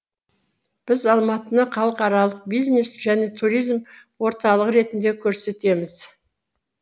біз алматыны халықаралық бизнес және туризм орталығы ретінде көрсетеміз